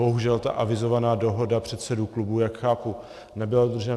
Bohužel ta avizovaná dohoda předsedů klubů, jak chápu, nebyla dodržena.